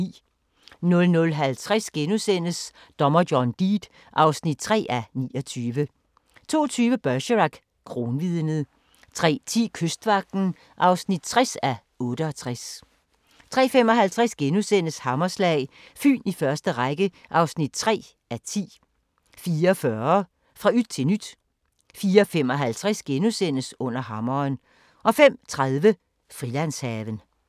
00:50: Dommer John Deed (3:29)* 02:20: Bergerac: Kronvidnet 03:10: Kystvagten (60:68) 03:55: Hammerslag – Fyn i første række (3:10)* 04:40: Fra yt til nyt 04:55: Under Hammeren * 05:30: Frilandshaven